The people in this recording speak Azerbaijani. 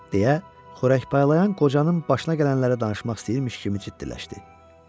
deyə xörək paylayan qocanın başına gələnləri danışmaq istəyirmiş kimi ciddiləşdi.